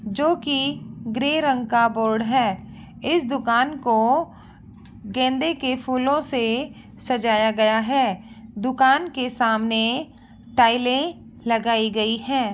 जो की ग्रे रंग का बोर्ड है इस दुकान को गेंदे के फूलों से सजाया गया है। दुकान के सामने टाइले लगाई गई हैं।